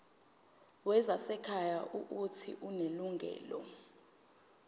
wezasekhaya uuthi unelungelo